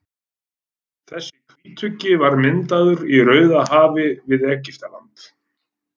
Þessi hvítuggi var myndaður í Rauðahafi við Egyptaland.